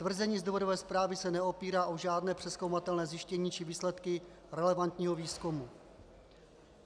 Tvrzení z důvodové zprávy se neopírá o žádné přezkoumatelné zjištění či výsledky relevantního výzkumu.